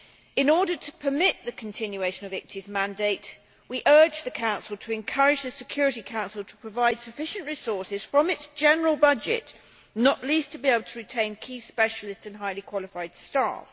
In order to permit the continuation of the ICTY's mandate, we urge the Council to encourage the Security Council to provide sufficient resources from its general budget, not least to be able to retain key specialists and highly qualified staff.